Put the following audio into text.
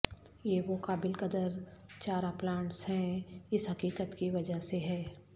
یہ وہ قابل قدر چارہ پلانٹس ہیں اس حقیقت کی وجہ سے ہے